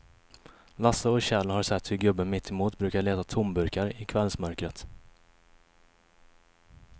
Lasse och Kjell har sett hur gubben mittemot brukar leta tomburkar i kvällsmörkret.